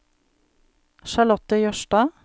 Charlotte Jørstad